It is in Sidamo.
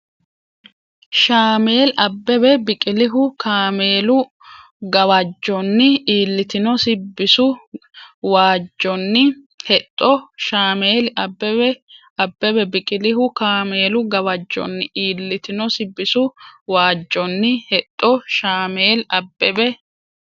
Shaameli Abbebe Biqilihu kaameelu gawajjonni iillitinosi bisu wajjonni hexxo Shaameli Abbebe Biqilihu kaameelu gawajjonni iillitinosi bisu wajjonni hexxo Shaameli Abbebe.